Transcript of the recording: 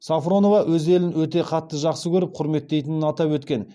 сафронова өз елін өте қатты жақсы көріп құрметтейтінін атап өткен